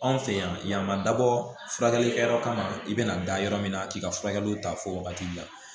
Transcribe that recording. Anw fɛ yan ma dabɔ furakɛli kɛyɔrɔ kama i bɛna da yɔrɔ min na k'i ka furakɛliw ta fɔ wagati la